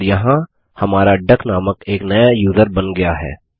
और यहाँ हमारा डक नामक एक नया यूज़र बन गया है